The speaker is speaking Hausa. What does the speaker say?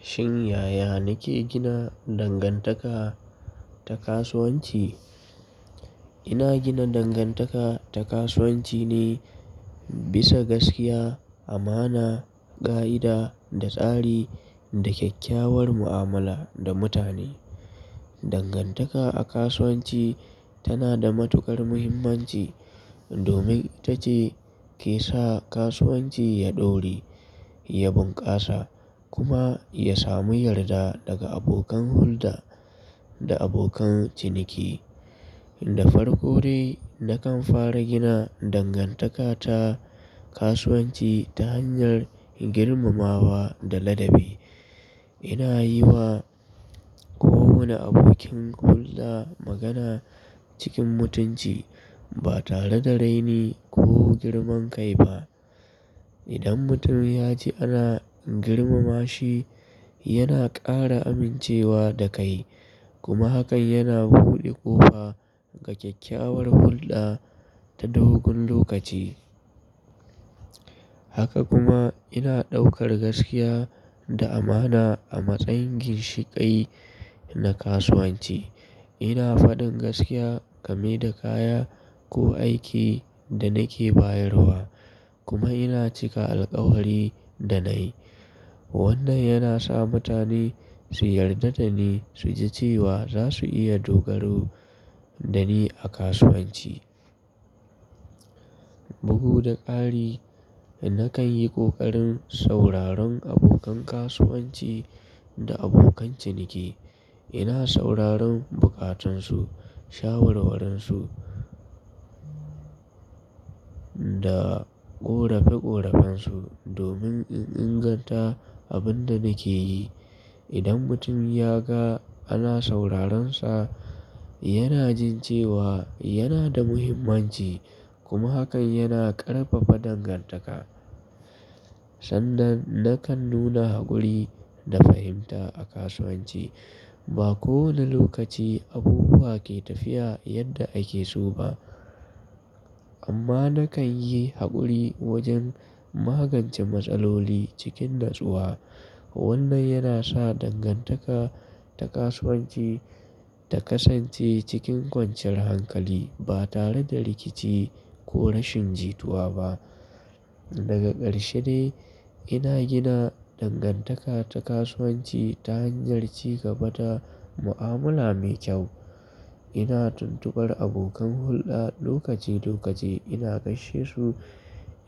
Shin yaya nake gina dangantaka ta kasuwanci? Ina gina dangantaka ta kasuwanci ne bisa gaskiya, amana, ƙa'ida da tsari da kyakkyawar mu'amala da mutane. Dangantaka a kasuwanci tana da matuƙar muhimmanci domin ita ce ke sa kasuwanci ya ɗore, ya bunƙasa kuma ya samu yarda daga abokan hulɗa da abokan ciniki. Da farko dai, nakan fara gina dangantaka ta kasuwanci ta hanyar girmamawa da ladabi. Ina yi wa kowane abokin hulɗa magana cikin mutunci ba tare da raini ko girman kai ba. Idan mutum ya ji ana girmama shi, yana ƙara amincewa da kai kuma hakan yana buɗe kofa ga kyakkyawar hulɗa ta dogon lokaci. Haka kuma ina ɗaukar gaskiya da amana a matsayin ginshiƙai na kasuwanci. Ina faɗin gaskiya game da kaya ko aiki da nake bayarwa kuma ina cika alkawari da na yi. Wannan yana sa mutane su yarda da ni su ji cewa za su iya dogaro da ni a kasuwanci. Bugu da ƙari, nakan yi ƙoƙarin sauraron abokan kasuwanci da abokan ciniki. Ina sauraron buƙatunsu, shawarwarinsu da ƙorafe-ƙorafen su domin in inganta abin da nake yi. Idan mutum ya ga ana sauraronsa, yana jin cewa yana da muhimmanci kuma hakan yana ƙarfafa dangantaka. Sannan, nakan nuna haƙuri da fahimta a kasuwanci. Ba kowane lokaci abubuwa ke tafiya yadda ake so ba amma nakan yi haƙuri wajen magance matsaloli cikin natsuwa. Wannan yana sa dangantaka ta kasuwanci ta kasance cikin kwanciyar hankali ba tare da rikici ko rashin jituwa ba. Daga ƙarshe dai, ina gina dangantaka ta kasuwanci ta hanyar ci gaba da mu'amala mai kyau. Ina tuntubar abokan hulɗa lokaci-lokaci, ina gaishe su,